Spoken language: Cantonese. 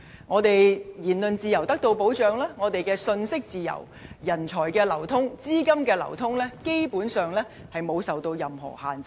除了言論自由得到保障，我們亦享有信息自由，而人才、資金的流通，基本上沒有受到任何限制。